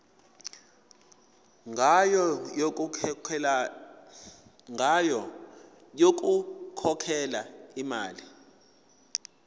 ngayo yokukhokhela imali